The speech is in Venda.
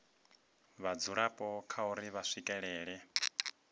vhadzulapo kha uri vha swikelela